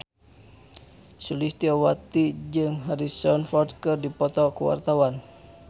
Sulistyowati jeung Harrison Ford keur dipoto ku wartawan